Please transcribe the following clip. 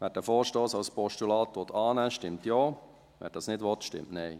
Wer den Vorstoss als Postulat annehmen will, stimmt Ja, wer das nicht will, stimmt Nein.